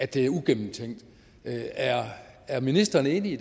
det er ugennemtænkt er ministeren enig